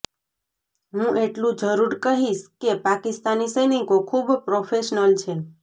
હું એટલું જરૂર કહીશ કે પાકિસ્તાની સૈનિકો ખૂબ પ્રોફેશનલ છે